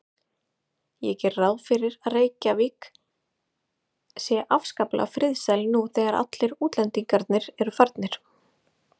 Ég geri ráð fyrir að Reykjavík sé afskaplega friðsæl nú þegar allir útlendingar eru farnir.